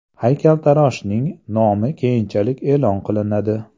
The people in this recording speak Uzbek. Haykaltaroshning nomi keyinchalik e’lon qilinadi.